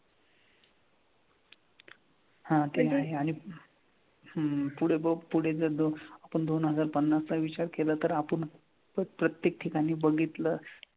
हा ते आहे आणि हम्म पुढे बघ पुढे जर दोन आपण जर दोन हजार पन्नासचा विचार केला तर आपण जर प्रत्येक ठिकाणी बघितलं,